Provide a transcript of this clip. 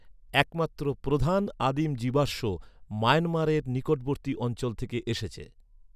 একমাত্র প্রধান আদিম জীবাশ্ম মায়ানমারের নিকটবর্তী অঞ্চল থেকে এসেছে।